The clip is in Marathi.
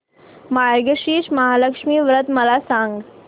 मार्गशीर्ष महालक्ष्मी व्रत मला सांग